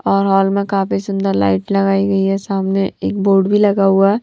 और हॉल में काफी सुंदर लाइट लगाई गई है सामने एक बोर्ड भी लगा हुआ है।